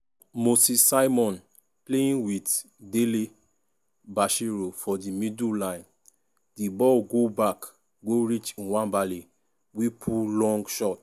moses simon playing wit dele-bashiru for di middle line di ball go back go reach nwabali wey pull long shot.